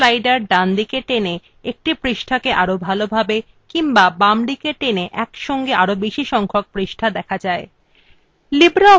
zoom slider ডানদিকে টেনে একটি পৃষ্ঠাকে আরো ভালোভাবে কিংবা বামদিকে টেনে একসঙ্গে আরো বেশী সংখ্যক পৃষ্ঠা দেখা যায়